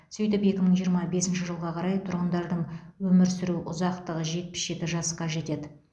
сөйтіп екі мың жиырма бесінші жылға қарай тұрғындардың өмір сүру ұзақтығы жетпіс жеті жасқа жетеді